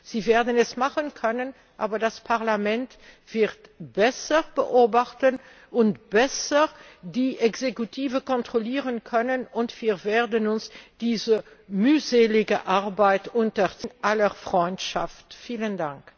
Sie werden es machen können, aber das Parlament wird besser beobachten und besser die Exekutive kontrollieren können, und wir werden uns dieser mühseligen Arbeit in aller Freundschaft unterziehen.